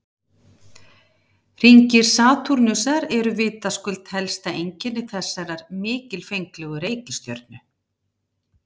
Hringir Satúrnusar eru vitaskuld helsta einkenni þessarar mikilfenglegu reikistjörnu.